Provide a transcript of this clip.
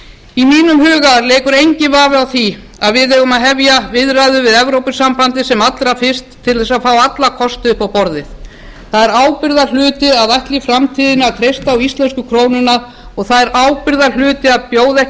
í mínum huga leikur enginn vafi á því að við eigum að hefja viðræður við evrópusambandið sem allra fyrst til að fá alla kosti upp á borðið það er ábyrgðarhluti að ætla í framtíðinni að treysta á íslensku krónuna og það er ábyrgðarhluti að bjóða ekki